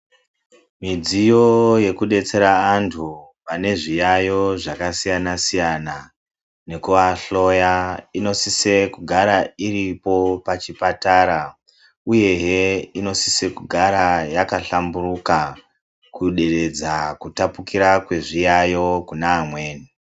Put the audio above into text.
Midziyo yekudetsera antu vane zviyayo zvakasiyana-siyana nekuahloya inosisa kugara iripo pachipatara uye he inosisa kugara yakahlamburuka kuderedza kutapukira kwezviyayo kune amweni.